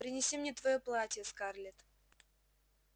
принеси мне твоё платье скарлетт